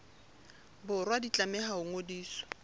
borwa di tlameha ho ngodiswa